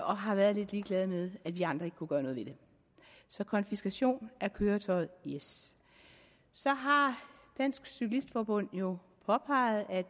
og har været lidt ligeglade med at vi andre ikke kunne gøre noget ved det så konfiskation af køretøjet yes så har dansk cyklist forbund jo påpeget